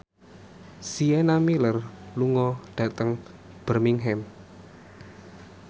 Sienna Miller lunga dhateng Birmingham